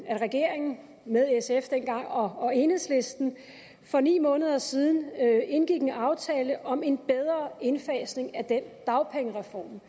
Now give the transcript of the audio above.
at regeringen med sf dengang og enhedslisten for ni måneder siden indgik en aftale om en bedre indfasning af den dagpengereform